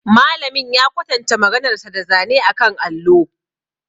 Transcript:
Malamin ya kwatanta maganarsa da zane akan allo.